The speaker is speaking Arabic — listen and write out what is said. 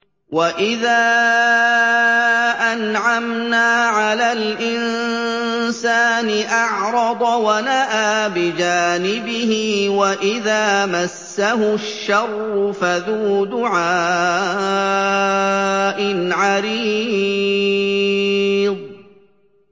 وَإِذَا أَنْعَمْنَا عَلَى الْإِنسَانِ أَعْرَضَ وَنَأَىٰ بِجَانِبِهِ وَإِذَا مَسَّهُ الشَّرُّ فَذُو دُعَاءٍ عَرِيضٍ